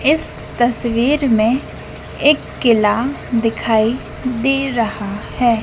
इस तस्वीर में एक किला दिखाई दे रहा है।